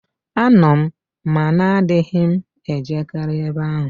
Ano m, ma na adịghị m e jekarị ebe ahụ.